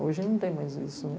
Hoje não tem mais isso.